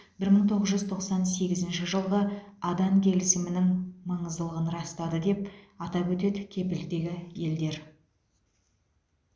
бір мың тоғыз жүз тоқсан сегізінші жылғы адан келісімінің маңыздылығын растады деп атап өтеді кепілдегі елдер